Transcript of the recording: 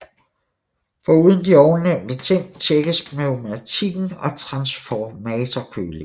Foruden de ovennævnte ting tjekkes pneumatikken og transformatorkølingen